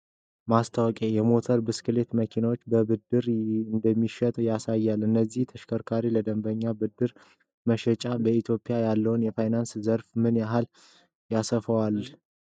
ማስታወቂያ የሞተር ብስክሌቶችንና መኪናዎችን በብድር እንደሚሸጥ ያሳያል። እነዚህ ተሽከርካሪዎች ለደንበኞች በብድር መሸጣቸው በኢትዮጵያ ያለውን የፋይናንስ ዘርፍ ምን ያህል ያሰፋዋ ል?